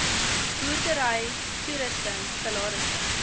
boerdery toerusting salarisse